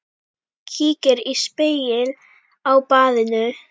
Kíkir í spegil á baðinu.